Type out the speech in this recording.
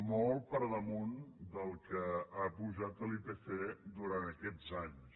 molt per damunt del que ha pujat l’ipc durant aquests anys